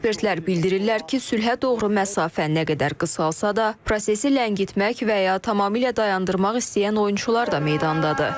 Ekspertlər bildirirlər ki, sülhə doğru məsafə nə qədər qısalasa da, prosesi ləngitmək və ya tamamilə dayandırmaq istəyən oyunçular da meydandadır.